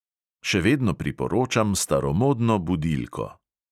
Še vedno priporočam staromodno budilko.